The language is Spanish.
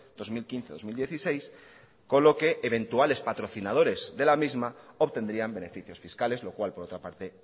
dos mil quince dos mil dieciséis con lo que eventuales patrocinadores de la misma obtendrían beneficios fiscales lo cual por otra parte